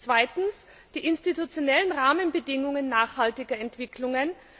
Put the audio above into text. Zweitens die institutionellen Rahmenbedingungen nachhaltiger Entwicklungen.